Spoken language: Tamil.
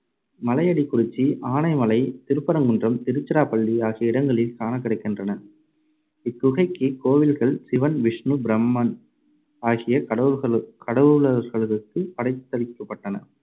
மலையடிக்குறிச்சி, ஆனைமலை, திருப்பரங்குன்றம், திருச்சிராப்பள்ளி ஆகிய இடங்களில் காணக்கிடைக்கின்றன. இக்குகைக்கு கோவில்கள் சிவன் விஷ்ணு பிரம்மன் ஆகிய கடவுள்களு~ கடவுளர்களுக்குப் படைத்தளிக்கப்பட்டன.